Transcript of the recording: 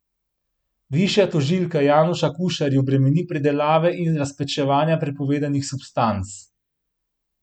Višja tožilka Januša Kušar ju bremeni pridelave in razpečevanja prepovedanih substanc.